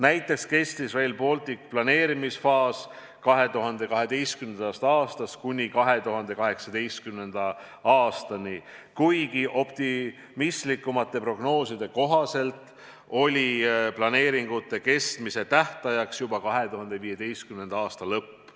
Näiteks kestis Rail Balticu planeerimisfaas 2012. aastast kuni 2018. aastani, kuigi optimistlikumate prognooside kohaselt oli planeeringute kestmise tähtajaks juba 2015. aasta lõpp.